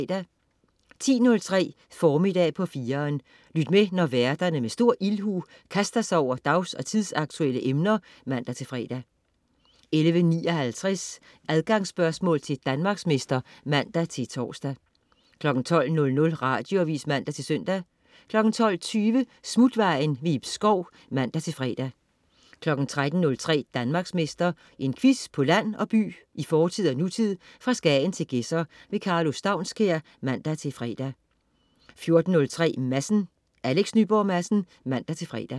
10.03 Formiddag på 4'eren. Lyt med, når værterne med stor ildhu kaster sig over dags- og tidsaktuelle emner (man-fre) 11.59 Adgangsspørgsmål til Danmarksmester (man-tors) 12.00 Radioavis (man-søn) 12.20 Smutvejen. Ib Schou (man-fre) 13.03 Danmarksmester. En quiz på land og by, i fortid og nutid, fra Skagen til Gedser. Karlo Staunskær (man-fre) 14.03 Madsen. Alex Nyborg Madsen (man-fre)